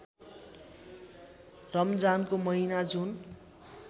रमजानको महिना जुन